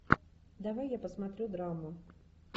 давай я посмотрю драму